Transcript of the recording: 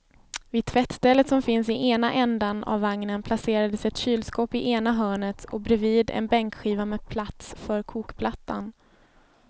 Vid tvättstället som finns i ena ändan av vagnen placerades ett kylskåp i ena hörnet och bredvid en bänkskiva med plats för kokplattan.